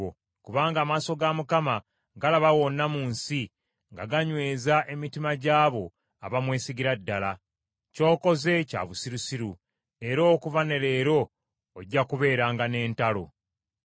Kubanga amaaso ga Mukama galaba wonna mu nsi, nga ganyweza emitima gy’abo abamwesigira ddala. Ky’okoze kya busirusiru, era okuva ne leero ojja kubeeranga n’entalo.”